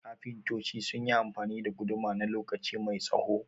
kafintoci sunyi amfani da guduma na lokaci mai tsaho